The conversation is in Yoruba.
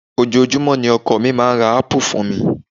Ojoojúmọ́ ni ọkọ mi máa ń ra ápù fún mi